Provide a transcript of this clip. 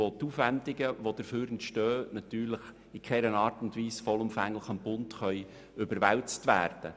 Die dabei entstandenen Aufwendungen können in keiner Art und Weise vollumfänglich dem Bund überwälzt werden.